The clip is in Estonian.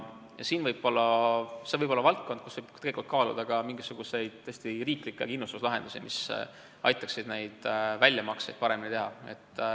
Ja see võib olla valdkond, kus tegelikult võiks kaaluda ka mingisuguseid, tõesti, riiklikke kindlustuslahendusi, mis aitaksid väljamakseid paremini teha.